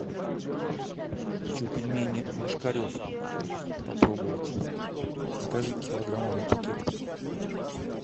хочу пельмени ложкарев попробовать закажи килограммовый пакет